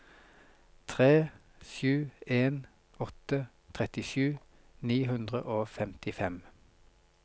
tre sju en åtte trettisju ni hundre og femtifem